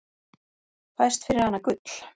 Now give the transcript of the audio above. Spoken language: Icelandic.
Fæst fyrir hana gull.